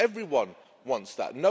Everyone wants that.